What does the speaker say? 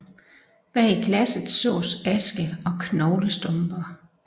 Bag glasset sås aske og knoglestumper